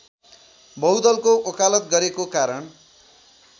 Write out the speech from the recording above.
बहुदलको वकालत गरेको कारण